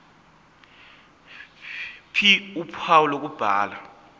ph uphawu lokubhala